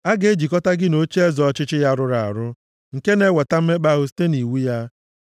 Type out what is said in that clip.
A ga-ejikọta gị na ocheeze ọchịchị ya rụrụ arụ, nke na-eweta mmekpa ahụ site nʼiwu ya?